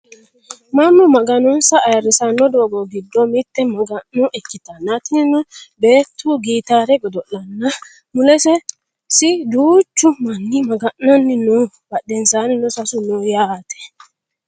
Mannu maganonsa ayeerrisanno doogo giddo mitte maga'no ikkitanna tinino beettu gitaare godo'lanna mulesi duuchu manni maga'nanni no badhensaanni seesu no yaate